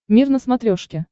мир на смотрешке